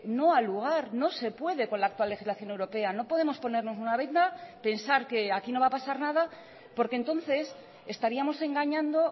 no ha lugar no se puede con la actual legislación europea no podemos ponernos una venda pensar que aquí no va a pasar nada porque entonces estaríamos engañando